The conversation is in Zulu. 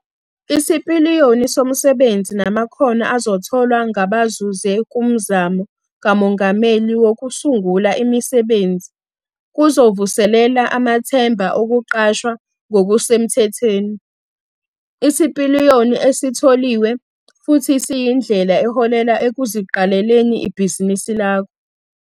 Isipiliyoni somsebenzi namakhono azotholwa ngabazuze kuMzamo kaMongameli Wokusungula Imisebenzi kuzovuselela amathemba okuqashwa ngokusemthethweni. Isipiliyoni esitholiwe futhi siyindlela eholela ekuziqaleleni ibhizinisi lakho.